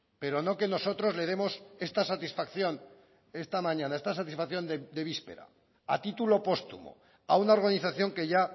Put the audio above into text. pero no que nosotros le demos esta satisfacción esta mañana esta satisfacción de víspera a título póstumo a una organización que ya